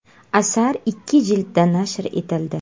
Asar ikki jildda nashr etildi.